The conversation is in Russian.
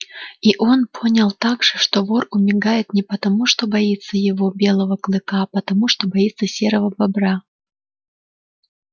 и он понял также что вор убегает не потому что боится его белого клыка а потому что боится серого бобра